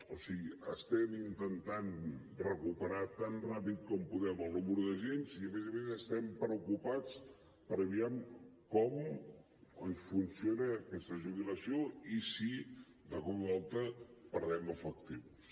o sigui estem intentant recuperar tan ràpid com podem el nombre d’agents i a més a més estem preocupats per aviam com ens funciona aquesta jubilació i per si de cop i volta perdem efectius